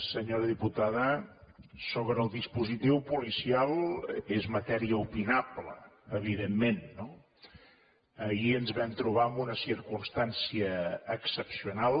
senyora diputada sobre el dispositiu policial és matèria opinable evidentment no ahir ens vam trobar amb una circumstància excepcional